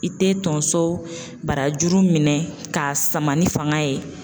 I te tonso barajuru minɛ k'a sama ni fanga ye.